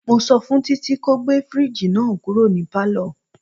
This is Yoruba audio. Mo sọ fún Títí ko gbé fridge náà kúrò ní palo.